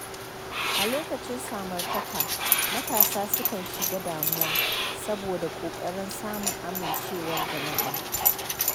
A lokacin samartaka, matasa sukan shiga damuwa saboda ƙoƙarin samun amincewar jama’a.